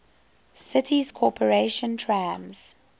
city's corporation trams